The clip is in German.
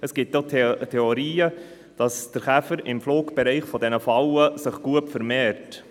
Es gibt auch Theorien, wonach sich der Käfer im Flugbereich dieser Fallen gut vermehrt.